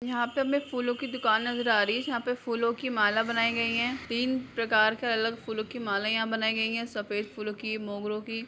यहॉं पे हमें फूलों की दुकान नजर आ रही है यहाॅं पे फूलों की माला बनाई गई है तीन प्रकार कर अलग फूलों की माला यहाँ बनाई गई है सफेद फूलों की मोगरों की।